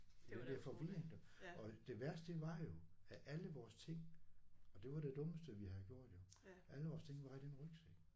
Jeg bliver forvirret du og det værste det var jo at alle vores ting og det var det dummeste vi havde gjort jo alle vores ting var i den rygsæk